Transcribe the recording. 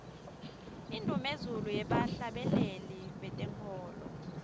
indumezulu yebahhlabeleli betenkholo